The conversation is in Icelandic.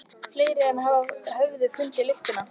Fleiri en hann höfðu fundið lyktina.